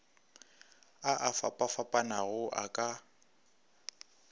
a a fapafapanago a ka